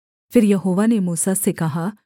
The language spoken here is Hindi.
फिर यहोवा ने मूसा से कहा